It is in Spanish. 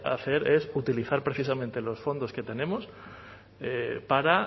hacer es utilizar precisamente los fondos que tenemos para